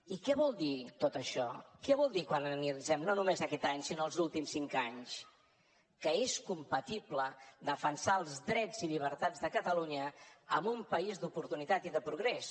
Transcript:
i què vol dir tot això què vol dir quan analitzem no només aquest any sinó els últims cinc anys que és compatible defensar els drets i llibertats de catalunya amb un país d’oportunitat i de progrés